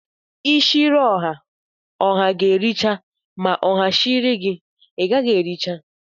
Ishiri oha, oha ga-ēri cha ma oha shiri gi igaghi ericha.